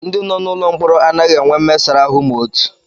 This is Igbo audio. Ndị nọ n'ụlọ mkpọrọ anaghị enwe mmesara ahụ ma otu